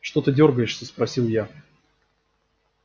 что ты дёргаешься спросил я